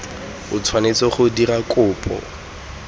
o tshwanetse go dira kopo